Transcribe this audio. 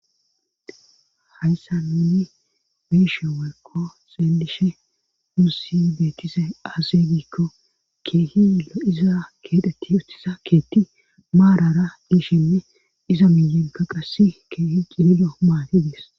hayssa nuni biishe welkko seendishe mussi beetise azebikko keehilo iza keedheti utisa keetti maarara diishinne iza miyinka qassi keehi qililo maati dis